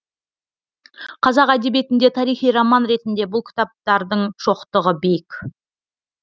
қазақ әдебиетінде тарихи роман ретінде бұл кітаптардың шоқтығы биік